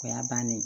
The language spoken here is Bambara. O y'a bannen ye